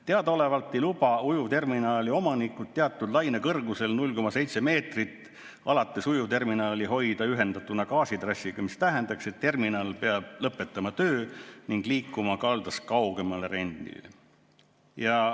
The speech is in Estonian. Teadaolevalt ei luba ujuvterminali omanikud teatud lainekõrguse korral, 0,7 meetrist alates, ujuvterminali hoida ühendatuna gaasitrassiga, mis tähendaks, et terminal peab lõpetama töö ning liikuma kaldast kaugemale reidile.